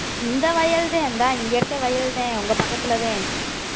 இந்த வயல்தான் இந்தா இங்க இருக்க வயல்தான் உங்க பக்கத்துலதான்